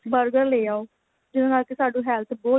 burger ਲੈ ਆਉ ਜਿਹਦੇ ਨਾਲ ਕੀ ਸਾਨੂੰ health ਬਹੁਤ